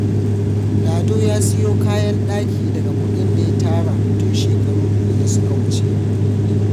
Lado ya siyo kayan daki daga kudin da ya tara tun shekara biyu da suka wuce.